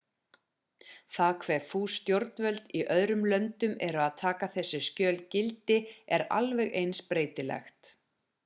það hve fús stjórnvöld í öðrum löndum eru að taka þessi skjöl gildi er alveg eins breytilegt